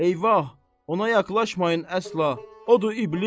Eyvah, ona yaxlaşmayın əsla, odur iblis.